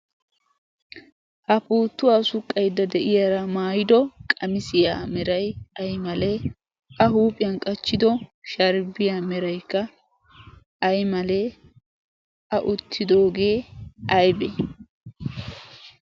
Ha puuttuwaa suqqaydda de"iyara maayiddo qamissiya meray ay maIle? Qassikka a huphphiyan qachchido sharibbiya meraykka ay malle? A uttidoogge ayibbe?